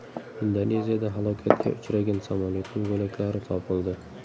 Indoneziyada halokatga uchragan samolyotning bo‘laklari topildi.